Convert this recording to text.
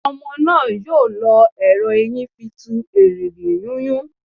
Ọmọ náà yóò lọ ẹrọ eyín tí fí tù erìgì yúnyún